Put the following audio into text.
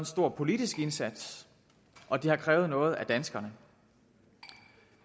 stor politisk indsats og det har krævet noget af danskerne